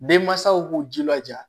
Denmansaw k'u jilaja